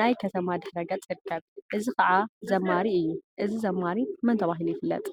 ናይ ከተማ ድሕረ ገፅ ይርከብ፡፡ እዚ ከዓ ዛማሪ እዩ፡፡ እዚ ዘማሪ መን ተባሂሉ ይፍለጥ?